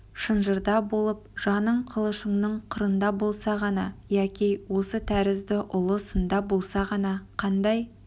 шынжырда болып жаның қылышыңның қырында болса ғана яки осы тәрізді ұлы сында болса ғана қандай